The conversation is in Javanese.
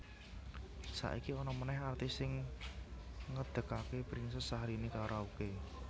Saiki ana meneh artis sing ngedegake Princess Syahrini Karaoke